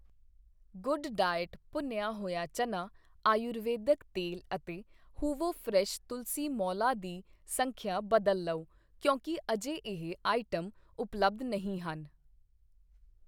good diet ਭੁੰਨਿਆ ਹੋਇਆ ਚਨਾ ਆਯੁਰਵੈਦਿਕ ਤੇਲ ਅਤੇ ਹੂਵੋ ਫਰੈਸ਼ ਤੁਲਸੀ ਮੋਲਾ ਦੀ ਸੰਖਿਆ ਬਦਲ ਲਉ ਕਿਉਂਕਿ ਅਜੇ ਇਹ ਆਈਟਮ ਉਪਲੱਬਧ ਨਹੀਂ ਹਨ